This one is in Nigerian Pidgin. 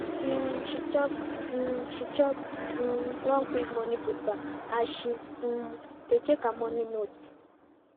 um she chop um she chop um one quick morning food bar as she um dey check her morning notes